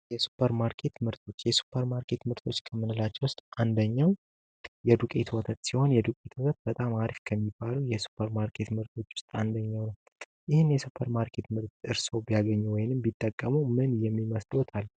የሱፐር ማርኬት ምርቶች የሱፐር ማርኬት ምርቶች ከምንላቸው ውስጥ አንደኛው የዱቄት ወተት ሲሆን የዱቄት ወተት በጣም አሪፍ ከሚባሉ የሱፐር ማርኬት ምርቶች ውስጥ አንደኛው ነው። ይህን የሱፐር ማርኬት ምርት እርስዎ ቢያገኙ ወይንም ቢጠቀሙ ምን ይመስልዎታል?